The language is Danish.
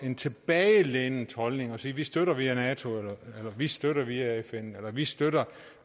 en tilbagelænet holdning ved at sige at vi støtter via nato eller vi støtter via fn eller vi støtter